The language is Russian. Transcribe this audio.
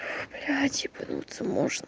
ой блять ебануться можно